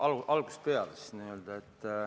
Hakkame algusest peale.